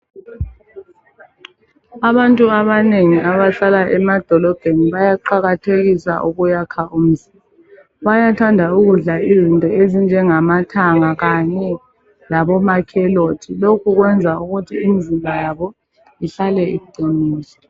Abantu abanengi abahlala emadolobheni bayaqakathekisa ukuyakha umzimba. Bayathanda ukudla izinto ezinjengamathanga kanye lama carrots. Lokhu kwenza ukuthi imzimba yabo ihlale iqinile.